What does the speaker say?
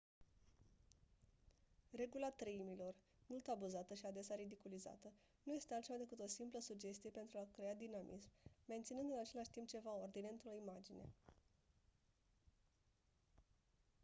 regula treimilor mult abuzată și adesea ridiculizată nu este altceva decât o simplă sugestie pentru a crea dinamism menținând în același timp ceva ordine într-o imagine